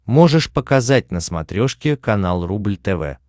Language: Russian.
можешь показать на смотрешке канал рубль тв